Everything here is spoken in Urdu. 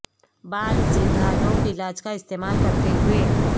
بال سیدھا لوک علاج کا استعمال کرتے ہوئے